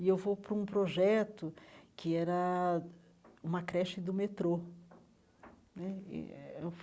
E eu vou para um projeto que era uma creche do metrô né.